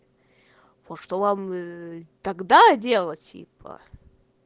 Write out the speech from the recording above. вот что вам тогда делать типа